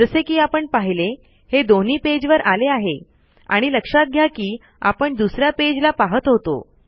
जसे कि आपण पहिले हे दोन्ही पेज वर आले आहे आणि लक्षात घ्या कि आपण दुसऱ्या पेज ला पाहत होतो